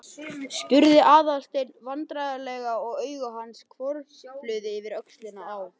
spurði Aðalsteinn vandræðalega og augu hans hvörfluðu yfir öxlina á